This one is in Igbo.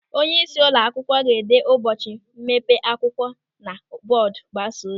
Onyeisi ụlọ akwụkwọ ga-ede ụbọchị mmepe akwụkwọ na bọọdu mgbasa ozi.